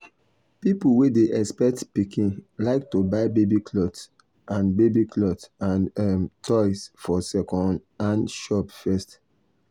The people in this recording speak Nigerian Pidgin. people wey dey expect pikin like to buy baby cloth and baby cloth and um toys for second-hand shop first.